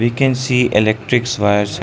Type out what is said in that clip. we can see electrics wires.